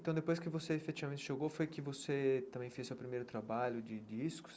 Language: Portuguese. Então, depois que você efetivamente chegou, foi que você também fez seu primeiro trabalho de discos?